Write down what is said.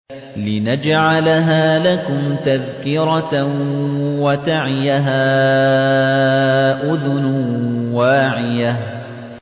لِنَجْعَلَهَا لَكُمْ تَذْكِرَةً وَتَعِيَهَا أُذُنٌ وَاعِيَةٌ